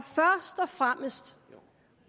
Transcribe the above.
fremmest